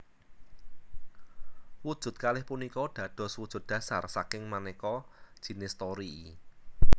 Wujud kalih punika dados wujud dhasar saking maneka jinis torii